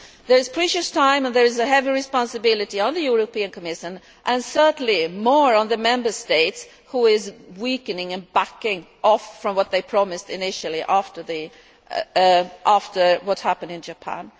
There is precious little time and there is a heavy responsibility on the European Commission, and certainly more now on the Member States, who are weakening and backing off from what they promised initially after what happened in Japan.